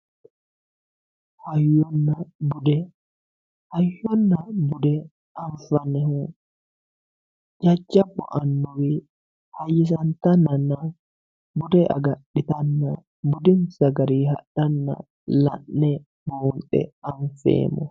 hayyonna bude hayyonna bude anfannihu jajjabbu annuwi hayyisantanana bude agadhitanna budinsa garinni hadhanna la'ne buunxe anfeemmoho.